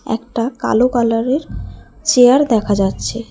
একটা কালো কালারের চেয়ার দেখা যাচ্ছে।